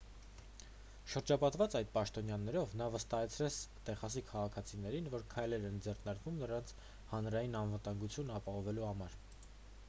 շրջապատված այդ պաշտոնյաներով նա վստահեցրեց տեխասի քաղաքացիներին որ քայլեր են ձեռնարկվում նրանց հանրային անվտանգությունն ապահովելու համար